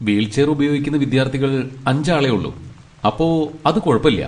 Wheelchair ഉപയോഗിക്കുന്ന വിദ്യാർത്ഥികൾ അഞ്ച് ആളെയുള്ളൂ, അപ്പൊ അത് കുഴപ്പല്യ.